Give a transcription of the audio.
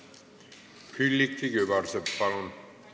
Külliki Kübarsepp, palun!